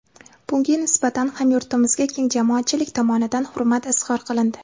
Bunga nisbatan hamyurtimizga keng jamoatchilik tomonidan hurmat izhor qilindi.